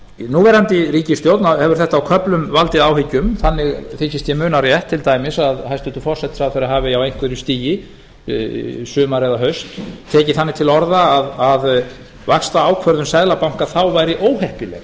núverandi ríkisstjórn hefur á köflum valdið áhyggjum þannig þykist ég muna rétt til dæmis að hæstvirtur forsætisráðherra hafi á einhverju stigi í sumar eða haust tekið þannig til orða að vaxtaákvörðun seðlabanka þá væri óheppileg